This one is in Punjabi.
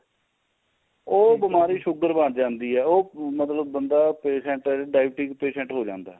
ਉਹ ਬੀਮਾਰੀ sugar ਬਣ ਜਾਂਦੀ ਏ ਮਤਲਬ ਬੰਦਾ patient ਏ diabetic patient ਹੋ ਜਾਂਦਾ